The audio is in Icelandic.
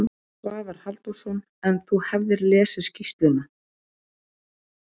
Svavar Halldórsson: En þú hafðir lesið skýrsluna?